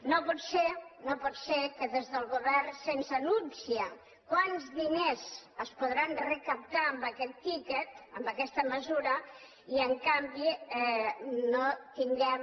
no pot ser no pot ser que des del govern se’ns anunciï quants di·ners es podran recaptar amb aquest tiquet amb aques·ta mesura i en canvi no tinguem